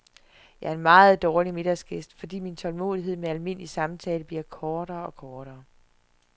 Jeg er en meget dårlig middagsgæst, fordi min tålmodighed med almindelig samtale bliver kortere og kortere.